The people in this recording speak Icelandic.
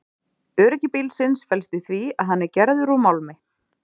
Öryggi bílsins felst í því að hann er gerður úr málmi.